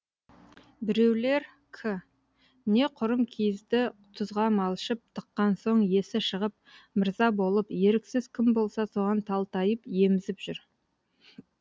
біреулер к не құрым киізді тұзға малшып тыққан соң есі шығып мырза болып еріксіз кім болса соған талтайып емізіп жүр